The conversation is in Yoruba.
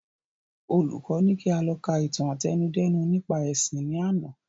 Olùkọ ní kí a lọ ka ìtàn àtẹnudẹ́nu nípa ẹ̀sìn ni àná